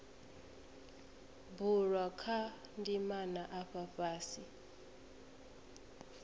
bulwa kha ndimana afha fhasi